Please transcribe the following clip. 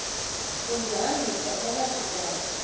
undihambisa phakathi kwazo